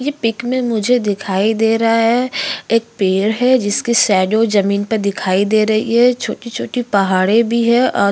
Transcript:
ये पिक में मुझे दिखाई दे रहा है एक पेड़ है जिसके शैडो ज़मीन पर दिखाई दे रही है छोटी छोटी पहाड़े भी हैं और --